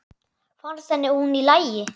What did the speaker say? Fannst henni hún í lagi?